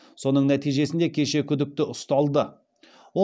соның нәтижесінде кеше күдікті ұсталды